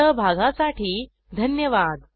सहभागासाठी धन्यवाद